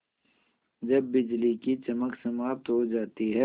जब बिजली की चमक समाप्त हो जाती है